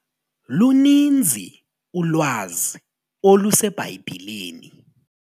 Luninzi ulwazi oluseBhayibhileni.